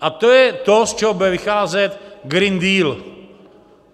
A to je to, z čeho bude vycházet Green Deal.